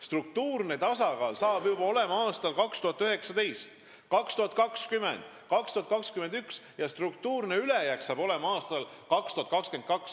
Struktuurne tasakaal hakkab meil olema juba aastal 2019 ja aastal 2022 hakkab meil olema struktuurne ülejääk.